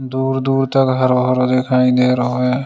दूर-दूर तक हरो-हरो दिखाई दे रओ है।